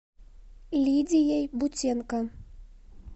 лидией бутенко